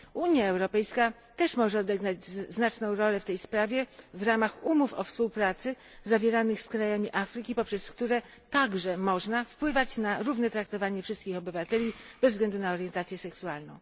Unia Europejska też może odegrać znaczną rolę w tej sprawie w ramach umów o współpracy zawieranych z krajami Afryki, poprzez które także można wpływać na równe traktowanie wszystkich obywateli bez względu na orientację seksualną.